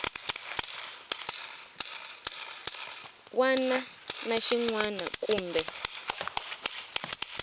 wana na xin wana kumbe